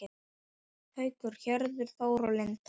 Haukur, Hörður Þór og Linda.